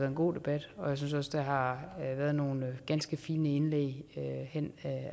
en god debat og jeg synes der har været nogle ganske fine indlæg hen